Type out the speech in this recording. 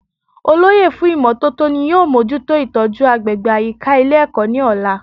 Olóyè fún ìmótótó ni yóò mójútó ìtójú agbègbè àyíká Ilé èkó ní òla